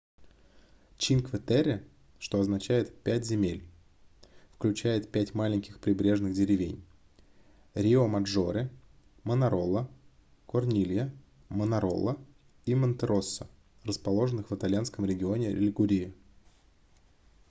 чинкве-терре что означает пять земель включает пять маленьких прибрежных деревень риомаджоре манарола корнилья манарола и монтероссо расположенных в итальянском регионе лигурия